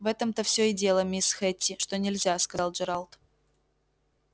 в этом-то все и дело мисс хэтти что нельзя сказал джералд